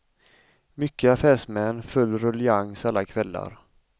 Mycket affärsmän, full ruljangs alla kvällar.